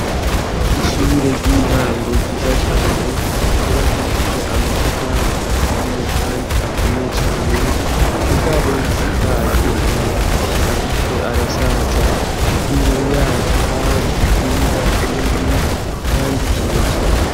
Ishure ry'intango ryiza cane ntubakishije amacafari aturiye, kandi akomeye cane mu gabo risakaje amabati, ariko arasaja imbere yaco hari ikibuga kinini, kandi kirekire.